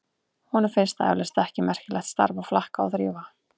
Honum finnst það eflaust ekki merkilegt starf að flaka og þrífa.